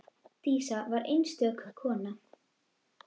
Dísa var einstök kona.